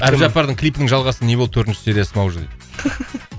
әбдіжаппардың клипінің жалғасы не болды төртінші сериясы ма уже дейді